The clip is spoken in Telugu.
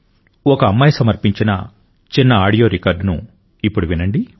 ఒక అమ్మాయి సమర్పించిన చిన్న ఆడియో రికార్డును వినండి